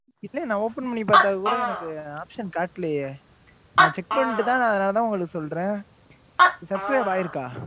இல்லை, நான் open பண்ணி பார்த்தால்கூட, எனக்கு option காட்டலையே? நான் check பண்ணிட்டுதான், அதனாலதான் உங்களுக்கு சொல்றேன் subscribe ஆயிருக்கு